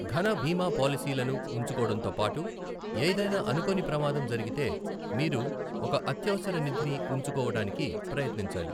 ఘన బీమా పాలసీలను ఉంచుకోడంతో పాటు, ఏదైనా అనుకోని ప్రమాదం జరిగితే, మీరు ఒక అత్యవసర నిధిని ఉంచుకోవడానికి ప్రయత్నించాలి.